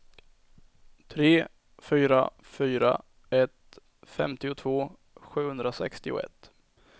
tre fyra fyra ett femtiotvå sjuhundrasextioett